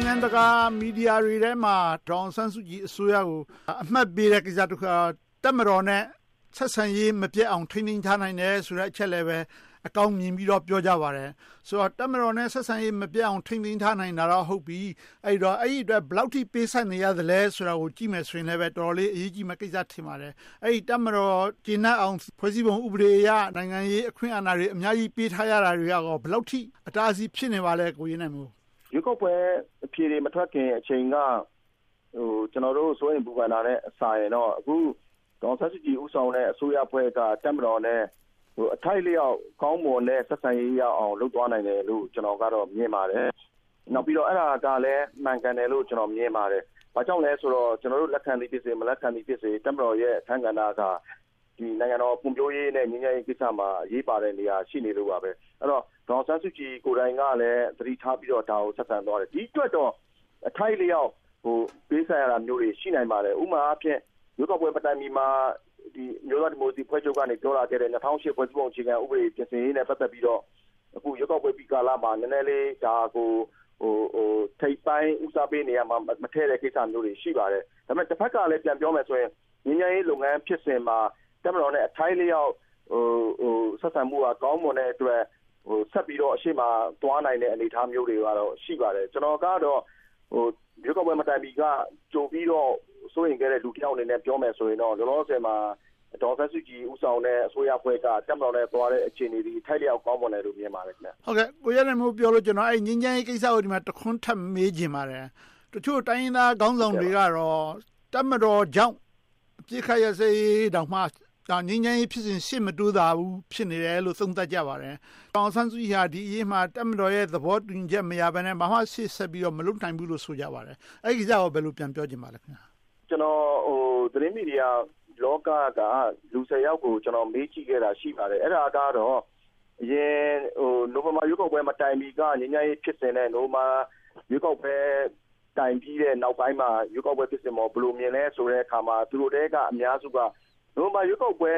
ုင်ငံတကာ မီဒီယာတွေထဲမှာ ဒေါ်အောင်ဆန်းစုကြည်အစိုးရကို အမှတ်ပေးတဲ့ကိစ္စတခုက တပ်မတော်နဲ့ ဆက်ဆံရေးမပျက်အောင် ထိန်းသိမ်းထားနိုင်တယ်ဆိုတဲ့ အချက်ကို အကောင်းမြင်ပြီးတော့ ပြောကြပါတယ်။ ဆိုတော့ တပ်မတော်နဲ့ ဆက်ဆံရေး မပျက်အောင် ထိန်းသိမ်းထားနိုင်တာတော့ ဟုတ်ပြီ။ အဲဒီတော့ အဲဒါအတွက် ဘယ်လောက်အထိ ပေးဆပ်နေရသလဲဆိုတာကို ကြည့်မယ်ဆိုရင်လဲ တော်တော်လေး အရေးကြီးတဲ့ကိစ္စ ထင်ပါတယ်။ တပ်မတော် ကျေနပ်အောင် ဖွဲ့စည်းပုံ ဥပဒေအရ နိုင်ငံရေးအခွင့်အဏာတွေ အများကြီးပေးထားရတာတွေက ဘယ်လောက်အထိ အတားအဆီး ဖြစ်နေပါလဲ။ ဦးရဲနိုင်မိုး ။ ။ ရွေးကောက်ပွဲ အဖြေတွေ မထွက်ခင်အချိန်က ကျနော်တို့ စိုးရိမ်ပူပန်တာထက်စာရင် အခု ဒေါ်အောင်ဆန်းစုကြည် ဦးဆောင်တဲ့အဖွဲ့က တပ်မတော်နဲ့ အထိုက်အလျှောက် ကောင်းမွန်တဲ့ ဆက်ဆံရေးရအောင် လုပ်သွားနိုင်တယ်လို့ ကျနော်က မြင်ပါတယ်။ နောက်ပြီးတော့ အဲဒါကလဲ မှန်ကန်တယ်လို့ မြင်ပါတယ်။ ဘာကြောင့်လဲဆိုတော့ ကျနော်တို့ လက်ခံသည်ဖြစ်စေ၊ လက်မခံသည်ဖြစ်စေ တပ်မတော်ရဲ့ အခန်းကဏ္ဍက နိုင်ငံတော်ဖွံ့ဖြိုးရေးနဲ့ ငြိမ်းချမ်းရေးကိစ္စမှာ အရေးပါတဲ့နေရာ ရှိနေလို့ပါ။ အဲဒီတော့ ဒေါ်အောင်ဆန်းစုကြည် ကိုယ်တိုင်ကလည်း ဒါကို သတိထားပြီးတော့ ဆက်ဆံသွားတယ်။ ဒီအတွက်တော့ အထိုက်အလျှောက် ပေးဆပ်ရတာမျိုးတွေ ရှိပါတယ်။ ဥပမာအားဖြင့် ရွေးကောက်ပွဲ မတိုင်မီမှာ အမျိုးသားဒီမိုကရေစီအဖွဲ့ချုပ်က ပြောခဲ့တဲ့ ၂၀၀၈ ဖွဲ့စည်းပုံ အခြေခံဥပဒေ ပြင်ဆင်ရေးနဲ့ ပတ်သက်ပြီးတော့ အခု ရွေးကောက်ပွဲပြီးကာလမှာ ဒါကို နည်းနည်းလေး ထိပ်ပိုင်းဦးစားပေးနေရာမှာ မထည့်တဲ့ ကိစ္စမျိုးတွေ ရှိပါတယ်။ တဖက်ကလဲ ပြန်ပြောမယ်ဆိုရင် ငြိမ်းချမ်းရေးလုပ်ငန်း ဖြစ်စဉ်မှာ တပ်မတော်နဲ့ အထိုက်အလျောက် ဆက်ဆံမှုက ကောင်းမွန်တဲ့အတွက် ဆက်ပြီးတော့ အရှေ့မှာ သွားနိုင်တဲ့ အနေအထားမျိုးတွေက ရှိနိုင်ပါတယ်။ ကျနော်ကတော့ ရွေးကောက်ပွဲမတိုင်မီက ကြိုပြီးတော့ စိုးရိမ်ခဲ့တဲ့ လူတယောက်အနေနဲ့ ပြောမယ်ဆိုရင်တော့ လောလောဆယ်မှာ ဒေါ်အောင်ဆန်းစုကြည် ဦးဆောင်တဲ့ အစိုးရက တပ်မတော်နဲ့သွားတဲ့ အခြေအနေသည် အထိုက်အလျောက် ကောင်းမွန်တယ်လို့ မြင်ပါတယ်။ ဦးကျော်ဇံသာ ။ ။ ကိုရဲနိုင်မိုး ပြောလို့ ငြိမ်းချမ်းရေးကိစ္စကို တခုထပ်မေးချင်ပါတယ်။ တချို့တိုင်းရင်းသားခေါင်းဆောင်တွေကတော့ တပ်မတော်ကြောင့် အပစ်အခတ် ရပ်စဲရေးတောင်မှ ငြိမ်းချမ်းရေးဖြစ်စဉ် ရှေ့မတိုးသာပါဘူး ဖြစ်နေတယ်လို့ သုံးသပ်ကြပါတယ်။ ဒေါ်အောင်ဆန်းစုကြည်ဟာ ဒီအရေးမှာ တပ်မတော်ရဲ့ သဘောတူညီချက်မရဘဲနဲ့ ဘာမှ ရှေ့ဆက်ပြီး မလုပ်နိုင်ဘူးလို့ ဆိုကြပါတယ်။ အဲဒီကိစ္စကို ဘာပြောချင်ပါလဲ။ ကိုရဲနိုင်မိုး ။ ။ ကျနော် သတင်းမီဒီယာလောကသား လူ ယောက်ကို မေးကြည့်ခဲတာ ရှိပါတယ်။ အရင် နိုဝင်ဘာ ရွေးကောက်ပွဲ မတိုင်မီက ငြိမ်းချမ်းရေး ဖြစ်စဉ်နဲ့ ရွေးကောက်ပွဲတိုင်ပြီးတဲ့ နောက်ပိုင်းမှာ ရွေးကောက်ပွဲဖြစ်စဉ်ကို ဘယ်လိုမြင်လဲဆိုတဲ့အခါမှာ သူတို့ထဲက အများစုက နိုဝင်ဘာ ရွေးကောက်ပွဲ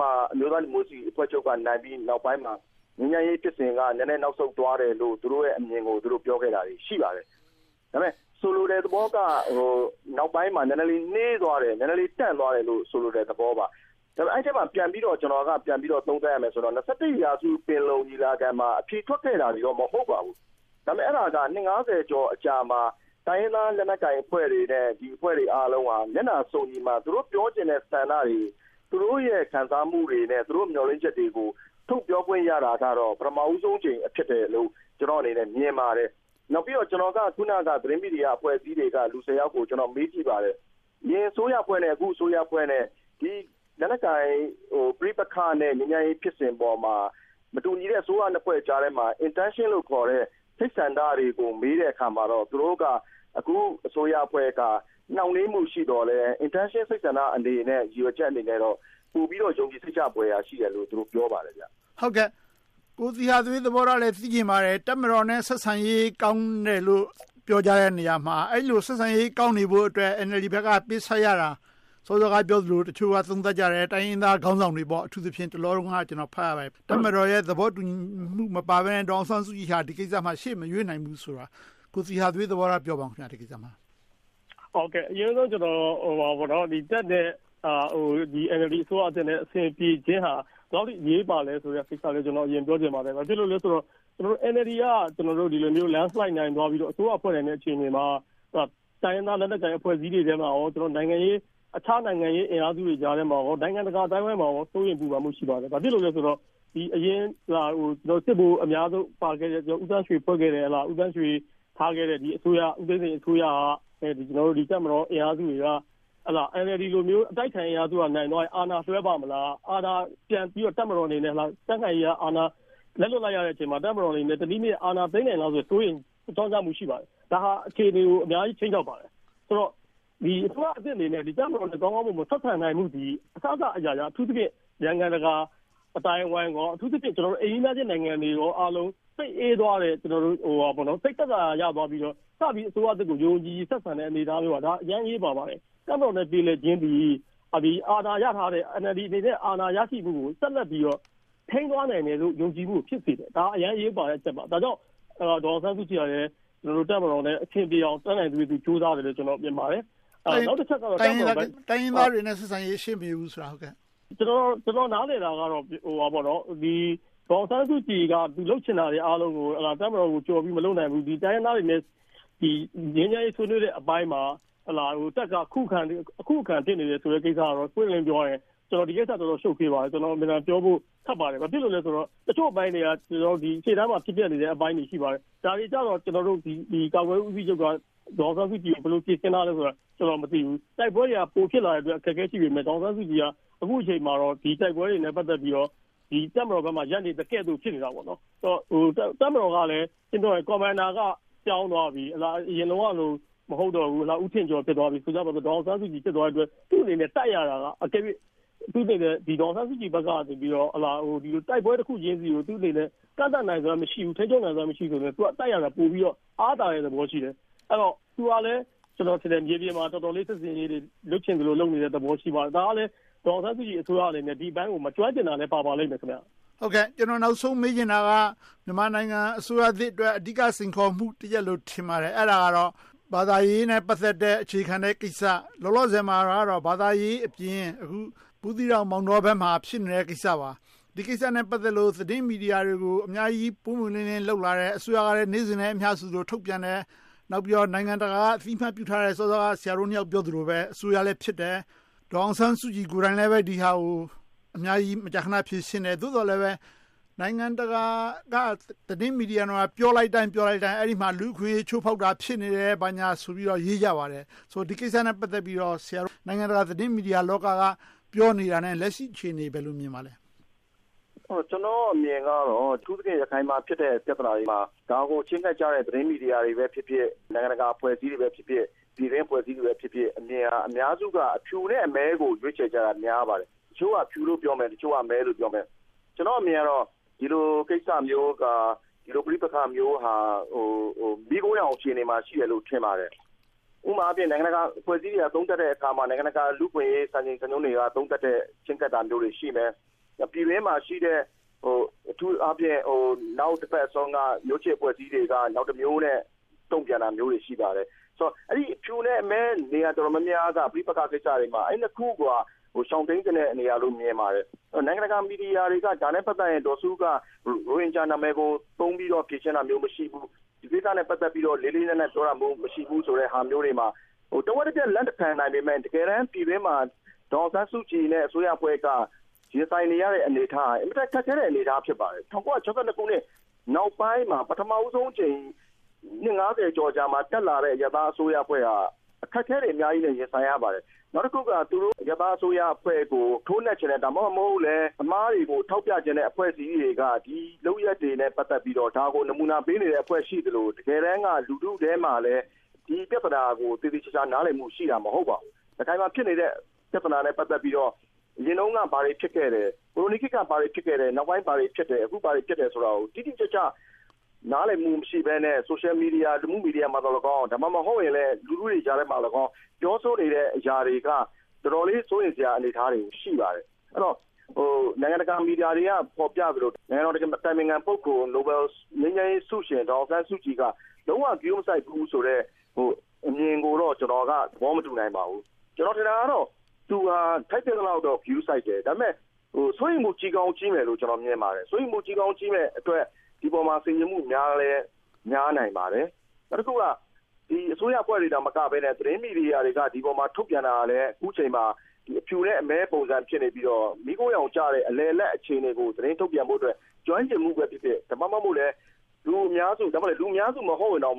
မှာ အမျိုးသားဒီမိုကရေစီအဖွဲ့ချုပ် နိုင်ပြီးနောက်ပိုင်းမှာ ငြိမ်းချမ်းရေးဖြစ်စဉ်က နည်းနည်းနောက်ဆုတ်သွားတယ်လို့ သူတို့ရဲ့အမြင်တွေကို ပြောခဲ့တာ ရှိပါတယ်။ ဒါပေမဲ့ ဆိုလိုတဲ့သဘောက နောက်ပိုင်းမှာ နည်းနည်းလေး နှေးသွားတယ်၊ တန့်သွားတယ်ဆိုတဲ့ သဘောပါ။ ဒါပေမဲ့ အဲဒီအထဲမှာ ကျနော်က ပြန်ပြီးတော့ သုံးသပ်ရရင်တော့ ရာစု ပင်လုံညီလာခံမှာ အဖြေထွက်ခဲ့တာတွေတော့ မဟုတ်ပါဘူး။ ဒါပေမဲ့ အဲဒါက နှစ် ကျော်ကြာတဲ့အခါမှာ တိုင်းရင်းသားအဖွဲ့တွေနဲ့ ဒီအဖွဲ့တွေအားလုံးဟာ မျက်နှာစုံညီမှာ သူတို့ ပြောချင်တဲ့ဆန္ဒတွေ၊ သူတို့ရဲ့ ခံစားမှုတွေနဲ့ မျှော်လင့်ချက်တွေကို ထုတ်ပြောခွင့်ရတာကတော့ ပထမဦးဆုံးအကြိမ် ဖြစ်တယ်လို့ ကျနော့်အနေနဲ့ မြင်ပါတယ်။ နောက်ပြီးတော့ ကျနော်က သတင်းမီဒီယာအဖွဲ့အစည်းတွေက လူ ယောက်ကို မေးကြည့်ပါတယ်။ အရင်အစိုးရအဖွဲ့နဲ့ အခုအစိုးရအဖွဲ့နဲ့ လက်နက်ကိုင် ပဋိပက္ခနဲ့ ငြိမ်းချမ်းရေးဖြစ်စဉ်ပေါ်မှာ မတူညီတဲ့ အစိုးရနှစ်ဖွဲ့ကြားထဲမှာ Intention လို့ခေါ်တဲ့ စိတ်ဆန္ဒတွေကို မေးတဲ့အခါမှာတော့ သူတို့က အခုအစိုးရအဖွဲ့က နှောင့်နှေးမှုရှိသော်လဲ Intention စိတ်ဆန္ဒအနေနဲ့ ရည်ရွယ်ချက်အနေနဲ့တော့ ပိုပြီးတော့ ယုံကြည်စိတ်ချဖွယ် ရှိတယ်လို့ ပြောပါတယ်။ ဦးကျော်ဇံသာ ။ ။ ကိုသီဟသွေး သဘောထားလဲ သိချင်ပါတယ်။ တပ်မတော်နဲ့ ဆက်ဆံရေး ကောင်းတယ်လို့ ပြောကြတဲ့နေရာမှာ အဲဒီလို ဆက်ဆံရေး ကောင်းနေဖို့အတွက် NLD ဘက်က ပေးဆပ်ရတာ စောစောကပြောသလို တချို့က သုံးသပ်ကြတယ်။ တိုင်းရင်းသားခေါင်းဆောင်တွေပေါ့ အထူးသဖြင့် တလောလုံးက ကျနော် ဖတ်ရတာ တပ်မတော်ရဲ့ သဘောတူညီမှု မပါဘဲနဲ့ ဒေါ်အောင်ဆန်းစုကြည်ဟာ ဒီကိစ္စမှာ ရှေ့မရွေ့နိုင်ဘူးဆိုတာ ကိုသီဟထွေး သဘောထားကို ပြောပါအုံး။ ဦးသီဟသွေး ။ ။ အရင်ဆုံး တက်လာတဲ့ NLD အစိုးရသစ်နဲ့ အဆင်ပြေခြင်းဟာ ဘယ်လောက်အထိ အရေးပါသလဲဆိုတာကို အရင်ပြောချင်ပါတယ်။ ဘာဖြစ်လို့လဲဆိုတော့ NLD က Landslide နိုင်သွားပြီး အစိုးရ ဖွဲ့နိုင်တဲ့ အခြေအနေမှာ တိုင်းရင်းသားလက်နက်ကိုင် အဖွဲ့အစည်းတွေထဲမှာ၊ တခြားနိုင်ငံရေးအင်အားစုတွေကြားထဲမှာ၊ နိုင်ငံတကာအသိုင်းအဝိုင်းမှာ စိုးရိမ်ပူပန် ရှိပါတယ်။ ဘာဖြစ်လို့လဲဆိုတော့ စစ်ဗိုလ်အများဆုံး ပါခဲ့တဲ့ ဦးသန်းရွှေ ထားခဲ့တဲ့ ဦးသိန်းစိန်အစိုးရဟာ တပ်မတော်အင်အားစုတွေက NLD လိုမျိုး အတိုက်အခံ အင်အားစုက နိုင်သွားရင် အာဏာလွှဲပါ့မလား။ တပ်မတော်အနေနဲ့ အာဏာပြန်ပြီးတော့ သိမ်းမလားဆိုတဲ့ စိုးရိမ်ကြောင့်ကြမှုတွေ ရှိပါတယ်။ ဒါဟာ အခြေအနေကို အများကြီး ခြိမ်းခြောက်ပါတယ်။ ဆိုတော့ အစိုးရသစ်အနေနဲ့ တပ်မတော်နဲ့ ကောင်းကောင်းမွန်မွန် မဆက်ဆံနိုင်ဘူးဆိုရင် အစစအရာရာ အထူးသဖြင့် နိုင်ငံတကာအသိုင်းအဝိုင်း၊ အထူးသဖြင့် အိမ်နီးနားချင်းနိုင်ငံတွေအားလုံး စိတ်အေးသွားတယ်၊ စိတ်သက်သာရာ ရသွားပြီးတော့ စပြီး အစိုးရသစ်ကို ယုံယုံကြည်ကြည် ဆက်ဆံတဲ့အနေအထားမျိုးဟာ အရမ်းအရေးပါပါတယ်။ တပ်မတော်နဲ့ ပြေလည်ခြင်းသည် အာဏာရထားတဲ့ NLD အနေနဲ့ အာဏာရရှိမှုကို ဆက်လက်ပြီးတော့ ထိန်းသွားနိုင်တယ်လို့ ယုံကြည်မှုကို ဖြစ်စေတယ်။ ဒါက အရမ်းအရေးပါတဲ့ အချက်ပါ။ ဒါကြောင့် ဒေါ်အောင်ဆန်းစုကြည်ကလည်း တပ်မတော်နဲ့ အဆင်ပြေအောင် တတ်နိုင်သလောက် ကြိုးစားတယ်လို့ မြင်ပါတယ်။ ဦးကျော်ဇံသာ ။ ။ တိုင်းရင်းသားတွေနဲ့ ဆက်ဆံရေး ရှေ့မရွေ့ဘူးဆိုတာ ဦးသီဟသွေး ။ ။ ကျနော် နားလည်တာကတော့ ဒေါ်အောင်ဆန်းစုကြည်က သူလုပ်ချင်တာတွေအားလုံးကို တပ်မတော်ကို ကျော်ပြီး မလုပ်နိုင်ဘူး။ တိုင်းရင်းသားတွေနဲ့ ငြိမ်းချမ်းရေး ဆွေးနွေးတဲ့အပိုင်းမှာ တပ်က အခုအခံ ဖြစ်နေတယ်ဆိုတဲ့အပိုင်းမှာ ပွင့်ပွင့်လင်းလင်း ပြောရရင် ဒီကိစ္စက တော်တော်ရှုပ်ထွေပါတယ်။ ကျနော် မြင်တာကိုပြောဖို့ ခက်ပါတယ်။ ဘာဖြစ်လို့လဲဆိုတော့ တချို့အပိုင်းတွေက ရှေ့တန်းမှာ ဖြစ်ပျက်နေတဲ့ အပိုင်းတွေ ရှိပါတယ်။ ဒါတွေကြတော့ ကာကွယ်ရေးဦးစီးချုပ်က ဒေါ်အောင်ဆန်းစုကြည် ဘယ်လို ဖြေရှင်းထားလဲဆိုတာကို ကျနော် မသိဘူး။ တိုက်ပွဲတွေက ပိုဖြစ်လာတဲ့အတွက် အခက်အခဲ ရှိပေမယ့် ဒေါ်အောင်ဆန်းစုကြည်က အခုအချိန်မှာတော့ ဒီတိုက်ပွဲတွေနဲ့ ပတ်သက်ပြီးတော့ တပ်မတော်ဘက်မှာ ရပ်တည်နေသကဲသို့ ဖြစ်နေတာပေါ့။ တပ်မတော်ကလဲ Commander က ပြောင်းသွားပြီ။ အရင်တုန်းကလို မဟုတ်တော့ဘူး။ ဦးထင်ကျော် ဖြစ်သွားပြီ။ ဆိုကြပါစို့ ဒေါ်အောင်ဆန်းစုကြည် ဖြစ်သွားပြီမို့ သူ့အနေနဲ့ တိုက်ရတာက အကယ်၍ အထူးသဖြင့် ဒေါ်အောင်ဆန်းစုကြည်ဘက်နေ ဒီလို တိုက်ပွဲတခုချင်းဆီကို ကန့်သတ်နိုင်စွမ်း မရှိဘူး။ ထိန်းချုပ်နိုင်စွမ်း မရှိဘူးဆိုပေမယ့် သူက တိုက်ရတာ ပိုပြီးတော့ အားသာတဲ့သဘောရှိတယ်။ အဲဒီတော့ သူကလဲ မြေပြင်မှာ တော်တော်လေး စစ်ဆင်ရေးတွေ လုပ်ချင်သလို လုပ်နေတယ့်သဘော ရှိပါတယ်။ ဒါကလဲ ဒေါ်အောင်ဆန်းစုကြည် အစိုးရအနေနဲ့ ဒီလိုင်းကို မကျွမ်းကျင်တာလဲ ပါပါလိမ့်မယ်။ ဦးကျော်ဇံသာ ။ ။ ကျနော် နောက်ဆုံးမေးချင်တာက မြန်မာနိုင်ငံအစိုးရသစ်အတွက် အဓိက စိန်ခေါ်မှုတရပ်လို့ ထင်ပါတယ်။ အဲဒါကတော့ ဘာသာရေးနဲ့ ပတ်သက်တဲ့ အခြေခံတဲ့ကိစ္စ လောလောဆယ်မှာတော့ ဘာသာရေးအပြင် ဘူးသီးတောင်၊ မောင်တောဘက်မှာ ဖြစ်နေတဲ့ကိစ္စပါ။ ဒီကိစ္စနဲ့ ပတ်သက်လို့ သတင်းမီဒီယာတွေကို အများကြီး ပွင့်ပွင့်လင်းလင်း လုပ်လာတယ်။ အစိုးရကလဲ နေ့စဉ်နဲ့အမျှ ထုတ်ပြန်တယ်။ နောက်ပြီးတော့ နိုင်ငံတကာက အသိအမှတ်ပြုထားတဲ့ စောစောက ဆရာတို့နှစ်ယောက် ပြောသလိုပဲ အစိုးရလည်းဖြစ်တဲ့ ဒေါ်အောင်ဆန်းစုကြည် ကိုယ်တိုင်လည်း ဒီဟာကို အများကြီး မကြာခဏ ဖြေရှင်းတယ်။ သို့သော်လဲပဲ နိုင်ငံတကာက သတင်းမီဒီယာတွေမှာ ပြောလိုက်တိုင်း အဲဒီမှာ လူ့အခွင့်အရေး ချိုးဖောက်တာ ဖြစ်နေတယ်။ ဘာညာဆိုပြီး ပြောကြပါတယ်။ ဆိုတော့ ဒီကိစ္စနဲ့ ပတ်သက်ပြီးတော့ နိုင်ငံတကာသတင်းမီဒီယာ လောကက ပြောနေတာနဲ့ လက်ရှိအခြေအနေကို ဘယ်လို မြင်ပါလဲ။ ဦးရဲနိုင်မိုး ။ ။ ကျနော့်အမြင်ကတော့ အထူးသဖြင့် ရခိုင်မှာဖြစ်တဲ့ ပြဿနာတွေမှာ ဒါကို ချဉ်းကပ်ကြတဲ့ သတင်းမီဒီယာတွေပဲဖြစ်ဖြစ်၊ နိုင်ငံတကာအဖွဲ့အစည်းတွေဖြစ်ဖြစ်၊ ပြည်တွင်းအဖွဲ့အစည်းတွေဖြစ်ဖြစ် အမြင်က အများစုက အဖြူနဲ့အမဲကို ရွေးချယ်ကြတာ များပါတယ်။ တချို့က အဖြူလို့ ပြောမယ်။ တချို့က အမဲလို့ ပြောမယ်။ ကျနော့်အမြင်က ဒီလိုကိစ္စမျိုးက ပဋိပက္ခမျိုးဟာ မီးခိုးရောင် အခြေအနေမှာ ရှိတယ်လို့ ထင်ပါတယ်။ ဥပမာအားဖြင့် နိုင်ငံတကာအဖွဲ့အစည်းတွေက သုံးသပ်တဲ့အခါမှာ၊ နိုင်ငံတကာ လူ့အခွင့်အရေး စံချိန်စံနှုန်းတွေက သုံးသပ်တဲ့ ချဉ်းကပ်တာမျိုးတွေ ရှိမယ်။ ပြည်တွင်းမှာရှိတဲ့ အထူးအားဖြင့် အနောက်ဘက်စွန်းက မျိုးချစ်အဖွဲ့အစည်းတွေက နောက်တမျိုးနဲ့ တုံ့ပြန်တာတွေ ရှိပါတယ်။ အဲဒီ အဖြူနဲ့အမဲ နေရာတော်တော်များများက ပဋိပက္ခကိစ္စတွေမှာ အဲဒီနှစ်ခုက ရှောင်တိမ်ချင်တဲ့ နေရာလို့ မြင်ပါတယ်။ နိုင်ငံတကာမီဒီယာတွေက ဒါနဲ့ ပတ်သက်ပြီး ဒေါ်စုက ရိုဟင်ဂျာနာမည်ကို သုံးပြီးတော့ ဖြေရှင်းတာမျိုး မရှိဘူး။ ဒီကိစ္စနဲ့ ပတ်သက်ပြီး လေးလေးနက်နက် ပြောတာမရှိဘူးဆိုတဲ့ဟာမျိုးတွေမှာ တဝက်တပျက် လက်ခံနိုင်ပေမယ့် တကယ်တမ်း ပြည်တွင်းမှာ ဒေါ်အောင်ဆန်းစုကြည်နဲ့ အစိုးရအဖွဲ့က ရင်ဆိုင်နေရတဲ့ အနေအထားက အင်မတန် ခက်ခဲတဲ့ အနေအထား ဖြစ်ပါတယ်။ ၁၉၆၂ ခုနှစ် နောက်ပိုင်းမှာ ပထမဦးဆုံးအကြိမ် နှစ် ကျော်ကြာမှာ တက်လာတဲ့ အရပ်သားအစိုးရအဖွဲ့က အခက်အခဲတွေ အများကြီးနဲ့ ရင်ဆိုင်ရပါတယ်။ နောက်တခုက သူတို့ အရပ်သားအစိုးရအဖွဲ့ကို ထိုးနှက်ချင်တယ်။ ဒါမှမဟုတ်လဲ အမှားတွေကို ထောက်ပြချင်တဲ့ အဖွဲ့အစည်းတွေက ဒီလုပ်ရပ်တွေနဲ့ ပတ်သက်ပြီးတော့ ဒါကို နမူနာ ပေးနေတဲ့ အဖွဲ့အစည်း ရှိနေသလို၊ တကယ်တမ်းက လူထုထဲမှာလဲ ဒီပြဿနာကို သေသေချာချာ နားလည်မှုရှိတာ မဟုတ်ပါဘူး။ ရခိုင်မှာ ဖြစ်နေတဲ့ ပြဿနာနဲ့ ပတ်သက်ပြီးတော့ အရင်တုန်းက ဘာတွေ ဖြစ်ခဲ့လဲ။ ကိုလိုနီခေတ်က ဘာတွေဖြစ်ခဲ့လဲ။ နောက်ပိုင်းဘာတွေ ဖြစ်လဲ။ အခု ဘာတွေဖြစ်လဲဆိုတာကို တိတိကျကျ နားလည်မှု မရှိဘဲနဲ့ Social Media သတင်းမီဒီယာမှာသော်လည်းကောင်း၊ လူထုတွေကြားမှာသော်လည်းကောင်း ပြောဆိုနေတဲ့ အရာတွေက တော်တော်လေး စိုးရိမ်စရာ အနေအထား ရှိပါတယ်။ နိုင်ငံတကာ မီဒီယာတွေက ဖော်ပြထားသလို နိုင်ငံတော် အတိုင်ပင်ခံ ပုဂ္ဂိုလ် ငြိမ်းချမ်းရေးဆုရှင် ဒေါ်အောင်ဆန်းစုကြည်က လုံးဝဂရုမစိုက်ဘူးဆိုတဲ့ အမြင်ကိုတော့ ကျနော်က သဘောမတူနိုင်ပါဘူး။ ကျနော် ထင်တာကတော့ သူက ထိုက်သင့်သလောက်တော့ ဂရုစိုက်တယ်။ ဒါပေမဲ့ စိုးရိမ်ဖို့ ကြီးကောင်းကြီးမယ်လို့ ထင်ပါတယ်။ စိုးရိမ်မှု ကြီးကောင်းကြီးမယ့်အတွက် ဒီအပေါ်မှာ ဆင်ခြင်မှုများလဲ များနိုင်ပါတယ်။ နောက်တခုက အစိုးရအဖွဲ့တွေမက သတင်းမီဒီယာတွေက ဒီအပေါ်မှာ ထုတ်ပြန်တာလဲ အခုအချိန်မှာ အဖြူအမဲ ပုံစံ ဖြစ်နေပြီးတော့ မိုးခိုးရောင်ကျတဲ့ အလယ်အလတ် အခြေအနေကို သတင်းထုတ်ပြန်ဖို့အတွက် ကျွမ်းကျင်မှုပဲဖြစ်ဖြစ်၊ ဒါမှမဟုတ် လူအများစု၊ ဒါမှမဟုတ် လူအများစုဖြစ်တဲ့ ဗုဒ္ဓမြန်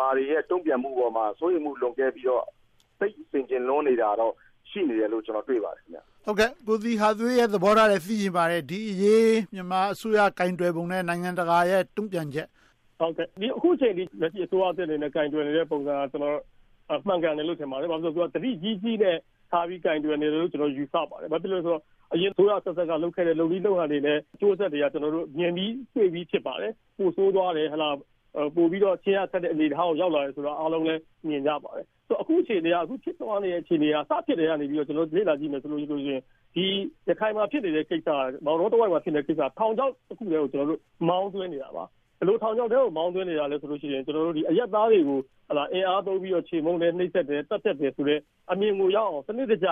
မာတွေရဲ့ တုံ့ပြန်မှုအပေါ်မှာ စိုးရိမ်မှု လွန်ကဲပြီးတော့ သိပ်ဆင်ခြင်လွန်နေတာတော့ ရှိနေတယ်လို့ ကျနော် တွေ့ပါတယ်။ ဦးကျော်ဇံသာ ။ ။ ကိုသီဟသွေးရဲ့ သဘောထားကိုလည်း သိချင်ပါတယ်။ ဒီအရေး မြန်မာအစိုးရ ကိုင်တွယ်ပုံနဲ့ နိုင်ငံတကာရဲ့ တုံ့ပြန်ချက်။ ဦးသီဟသွေး ။ ။ အခုအချိန်အထိ လက်ရှိ အစိုးရသစ်အနေနဲ့ ကိုင်တွယ်နေတဲ့ ပုံစံ မှန်ကန်တယ်လို့ ထင်ပါတယ်။ ဘာဖြစ်လို့လဲဆိုတော့ သတိကြီးကြီးနဲ့ ကိုင်တွယ်နေတယ်လို့ ထင်ပါတယ်။ ဘာဖြစ်လို့လဲဆိုတော့ အရင်အစိုးရအဆက်ဆက်က လုပ်ခဲ့တဲ့ လုပ်နည်းလုပ်ဟန်တွေနဲ့ အကျိုးအဆက်တွေက မြင်ပြီးတွေ့ပြီး ဖြစ်ပါတယ်။ ပိုဆိုးသွားတယ်။ ပိုပြီးတော့… အနေအထားကို ရောက်သွားတယ်ဆိုတာကို အားလုံးလဲ မြင်ကြပါတယ်။ အခုဖြစ်သွားတဲ့ အခြေအနေက စဖြစ်တည်းကနေ လေ့လာကြည့်မယ်ဆိုရင် ဒီရခိုင်မှာ ဖြစ်နေတဲ့ကိစ္စက မောင်းတောတဝိုက်မှာ ဖြစ်နေတဲ့ ကိစ္စက ထောင်ချောက်တခုထဲကို မောင်းသွင်းနေတာပါ။ ဘယ်လို ထောင်ချောက်ထဲကို မောင်းသွင်းနေတာလဲဆိုရင် အရပ်သားတွေကို အင်အားသုံးပြီး ချေမှုန်တယ်။ နှိပ်စက်တယ်။ သတ်ဖြတ်တယ်ဆိုတဲ့ အမြင်ကိုရောက်အောင် စနစ်တကျ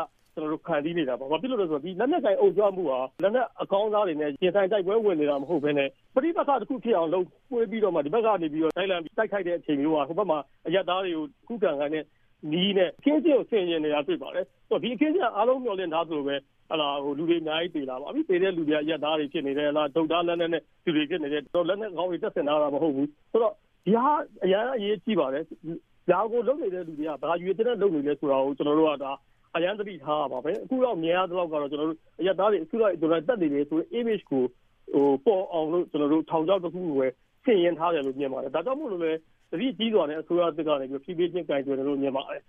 ဖန်တီးနေတာပါ။ ဘာဖြစ်လို့လဲဆိုတော့ လက်နက်ကိုင် အုံ့ကြွမှုဟာ လက်နက်အကောင်းစားတွေနဲ့ ရင်ဆိုင်တိုက်ပွဲဝင်နေတာ မဟုတ်ဘဲနဲ့ ပဋိပက္ခ ဖြစ်အောင်လုပ်ပြီးတော့ ဒီဘက်ကနေ လိုက်လံပြီး တိုက်ခိုက်တဲ့ အခြေအနေမျိုးဟာ ဟိုဘက်မှာ အရပ်သားတွေကို ခုခံခိုင်းတဲ့နည်းနဲ့ အခင်းအကျင်းကို တွေ့ပါတယ်။ ဒီအခင်းအကျင်းက အားလုံး မျှော်လင့်ထားသလိုပဲ လူတွေအများကြီး သေတာပေါ့။ အခုသေတဲ့ လူတွေက အရပ်သားတွေ ဖြစ်နေတယ်။ တုတ်ဒါးလက်နက်နဲ့ လူတွေ ဖြစ်နေတယ်။ လက်နက်ကောင်းတွေ တပ်ဆင်ထားတာ မဟုတ်ဘူး။ ဆိုတော့ ဒီဟာက အရမ်းအရေးကြီးပါတယ်။ ဒါကို လုပ်နေတဲ့ လူတွေက ဘာရည်ရွယ်ချက်နဲ့ လုပ်နေတယ်ဆိုတာကို ကျနော်တို့က အရမ်းသတိထားရပါမယ်။ အခုထိ မြင်ရသလောက်တော့ အရပ်သားတွေကို အစုလိုက်အပြုံလိုက် သတ်နေတယ်ဆိုတဲ့ Image ကို ပေါ်အောင်လို့ ထောင်ချောက်တခုခုကို ဆင်ယင်ထားတယ်လို့ မြင်ပါတယ်။ ဒါကြောင့်မို့ သတိကြီးစွာနဲ့ အစိုးရသစ်က ဖြည်းဖြည်းချင်း ကိုင်တွယ်နေတယ်လို့ မြင်ပါတယ်။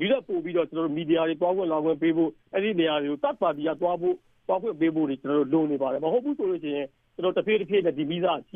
ဒီထက်ပိုပြီးတော့ မီဒီယာတွေ သွားခွင့်လာခွင့်ပေးဖို့၊ အဲဒီနေရာတွေကို Third Party တွေက သွားဖို့၊ သွားခွင့်ပေးဖို့တွေ လိုပါတယ်။ မဟုတ်ဘူးဆိုရင် တဖြည်းဖြည်းနဲ့ ဒီ မီးစက ကြီး